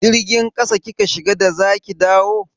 Jirgin ƙasa kika shiga da za ki dawo?